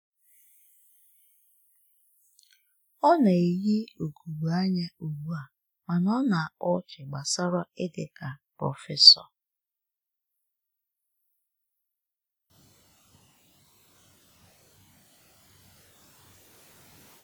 Ọ na-eyi ugogbe anya ugbu a mana ọ na-akpa ọchị gbasara ịdị ka prọfesọ.